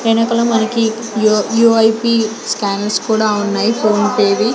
వెనకల మనకి UIP scanners కూడా ఉన్నాయి ఫోన్ పే వి.